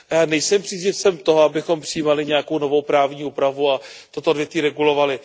Nejsem příznivcem toho, abychom přijímali nějakou novou právní úpravu a toto odvětví regulovali.